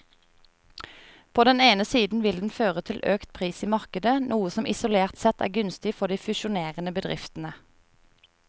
På den ene siden vil den føre til økt pris i markedet, noe som isolert sett er gunstig for de fusjonerende bedriftene.